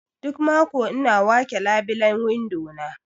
Duk mako ina wake labilen windo na.